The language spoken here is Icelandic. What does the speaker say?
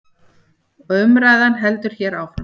Og umræðan heldur hér áfram.